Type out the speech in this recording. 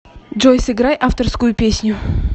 джой сыграй авторскую песню